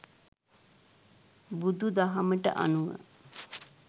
බුදුදහමට අනුව,